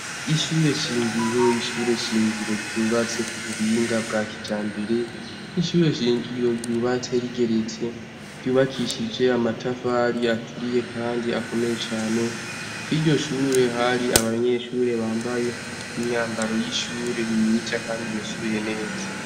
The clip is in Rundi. ishure shingiro ishure shingiro byubatse ku buhinga bwa kijambere ishure shingiro ryubatse rigeretse ryubakishije amatafari aturiye kandi akomeye cane kuri iryo shure hari abanyeshure bambaye imyambaro y'ishure myiza kandi imesuye neza.